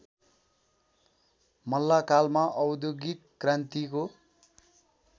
मल्लकालमा औद्योगिक क्रान्तिको